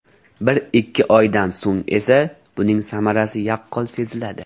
Bir-ikki oydan so‘ng esa, buning samarasi yaqqol seziladi.